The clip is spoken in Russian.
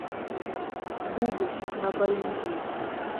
буду на боливии